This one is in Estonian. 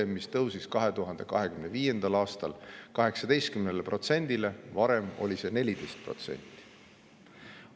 See maks tõusis 2025. aastal 18%‑le, varem oli see 14%.